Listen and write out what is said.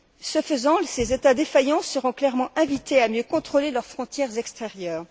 Ce faisant, ces États défaillants seront clairement invités à mieux contrôler leurs frontières extérieures.